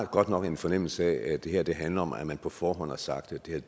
godt nok en fornemmelse af at det her handler om at man på forhånd har sagt